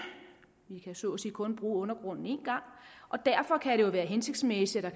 vi kan så at sige kun bruge undergrunden en gang og derfor kan det jo være hensigtsmæssigt at